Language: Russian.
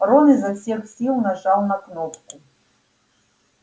рон изо всех сил нажал на кнопку